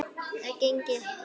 Það gengi ekki